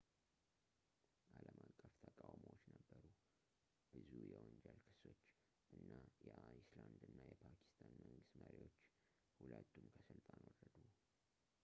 አልም አቀፍ ተቃውሞዎቹ ነበሩ ብዙ የወንጀል ክሶች እና የአይስላንድ እና የፓኪስታን መንግስት መሪዎች ሁለቱም ከስልጣን ወረዱ